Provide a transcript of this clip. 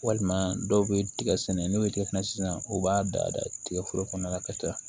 Walima dɔw bɛ tigɛ sɛnɛ n'u tigɛ sisan u b'a da tigɛ foro kɔnɔna la ka taa